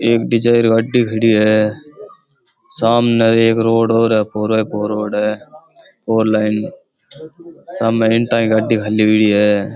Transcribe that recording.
एक डिजायर गाड़ी खड़ी है सामने एक रोड़ और है पोरे पो रोड है फॉर लाइन सामे इंटा की है।